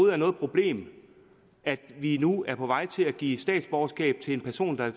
er noget problem at vi nu er på vej til at give statsborgerskab til en person der